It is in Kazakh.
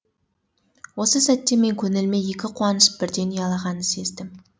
осы сәтте мен көңіліме екі қуаныш бірден ұялағанын сездім